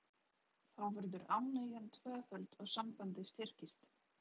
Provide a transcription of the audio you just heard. Þá verður ánægjan tvöföld og sambandið styrkist.